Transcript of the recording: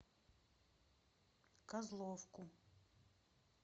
козловку